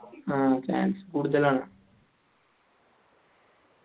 ആ chance കൂടുതലാണ്